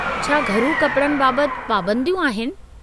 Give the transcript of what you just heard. छा घरू कपड़नि बाबत पाबंदियूं आहिनि?